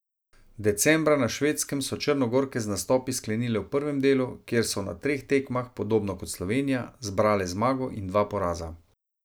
Decembra na Švedskem so Črnogorke z nastopi sklenile v prvem delu, kjer so na treh tekmah, podobno kot Slovenija, zbrale zmago in dva poraza.